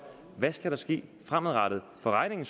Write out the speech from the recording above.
hvad skal der ske fremadrettet for regningen